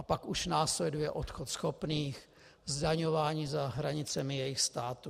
A pak už následuje odchod schopných, zdaňování za hranicemi jejich států.